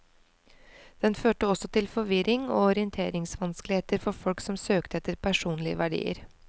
Den førte også til forvirring og orienteringsvanskeligheter for folk som søkte etter personlige verdier.